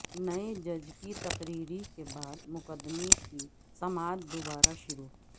نئے جج کی تقرری کے بعد مقدمہ کی سماعت دوبارہ شروع